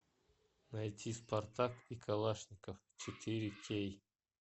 найти спартак и калашников четыре кей